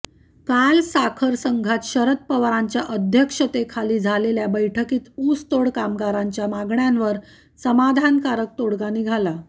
काल साखर संघात शरद पवारांच्या अध्यक्षतेखाली झालेल्या बैठकीत ऊसतोड कामगारांच्या मागण्यांवर समाधानकारक तोडगा निघाला